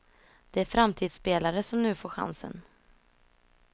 Det är framtidsspelare som nu får chansen.